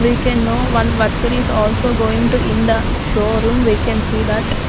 we can know one worker is also going to in the showroom we can see that.